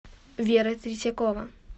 вера третьякова